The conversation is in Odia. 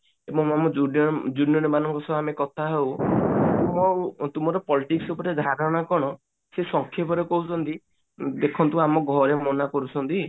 ଏବଂ ଆମ ଜୁ junior ମାନଙ୍କ ସହ ଆମେ କଥା ହଉ ତୁମର politics ଉପରେ ଧାରଣା କଣ ସେ ସଂକ୍ଷେପରେ କହୁଛନ୍ତି ଦେଖନ୍ତୁ ଆମ ଘରେ ମନା କରୁଛନ୍ତି